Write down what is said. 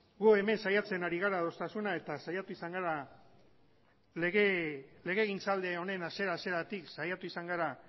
gu hemen saiatzen ari gara adostasuna eta legegintzaldi honen hasiera hasieratik saiatu izan gara